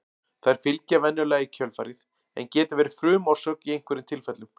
Þær fylgja venjulega í kjölfarið en geta verið frumorsök í einhverjum tilfellum.